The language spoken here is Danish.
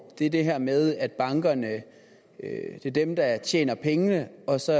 er det her med at bankerne er dem der tjener pengene og så